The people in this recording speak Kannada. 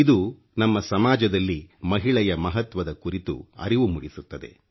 ಇದು ನಮ್ಮ ಸಮಾಜದಲ್ಲಿ ಮಹಿಳೆಯ ಮಹತ್ವದ ಕುರಿತು ಅರಿವು ಮೂಡಿಸುತ್ತದೆ